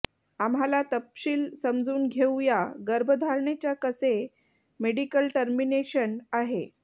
आम्हाला तपशील समजून घेऊया गर्भधारणेच्या कसे मेडिकल टर्मिनेशन आहे